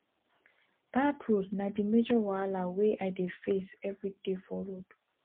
bad road na di major wahala wey i dey face everyday for road